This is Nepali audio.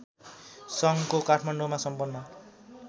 सङ्घको काठमाडौँमा सम्पन्न